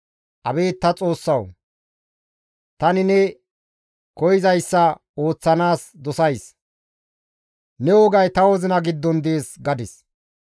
Abeet ta Xoossawu! Tani neni koyzayssa ooththanaas dosays; ne wogay ta wozina giddon dees» gadis.